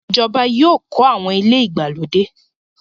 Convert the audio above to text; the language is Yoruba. Ìjọba yóò kọ̀ awọn ilẹ̀ igbalodẹ.